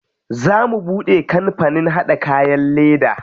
Za mu buɗe kampanin haɗa kayan leda.